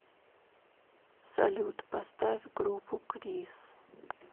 салют поставь группу крис